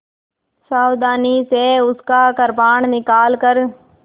सावधानी से उसका कृपाण निकालकर